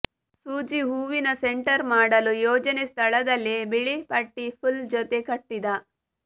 ಸೂಜಿ ಹೂವಿನ ಸೆಂಟರ್ ಮಾಡಲು ಯೋಜನೆ ಸ್ಥಳದಲ್ಲಿ ಬಿಳಿ ಪಟ್ಟಿ ಪುಲ್ ಜೊತೆ ಕಟ್ಟಿದ